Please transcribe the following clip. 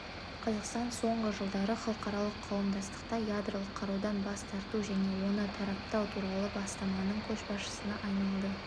қазақстан соңғы жылдары халықаралық қауымдастықта ядролық қарудан бас тарту және оны таратпау туралы бастаманың көшбасшысына айналды